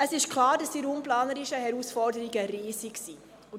Es ist klar, dass die raumplanerischen Herausforderungen riesig sind.